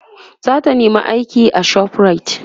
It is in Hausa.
zata nema aiki a shoprite